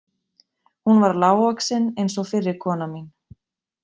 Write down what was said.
Hún var lágvaxin eins og fyrri kona mín.